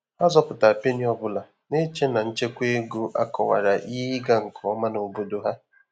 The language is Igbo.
Há zọpụ́tàrà pénnì ọ́ bụ́lá, nà-échè nà nchékwá égo ákọwàrà ìhè ị́gà nké omà n’obòdò há.